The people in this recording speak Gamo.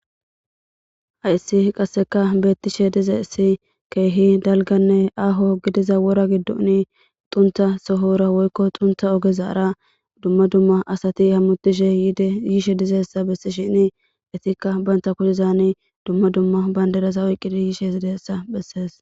Hayssi qasseka beettishe dizessi keehi dalganne aaho gidiza wora giddoni xunta sohora woykko xunta ogezaara dumma dumma asati hammutishe dyiishe dizeessa bessi shini itikka baynta kudezani dumma dumma bayndedasa oyqqidi yiishe zidessa bessees.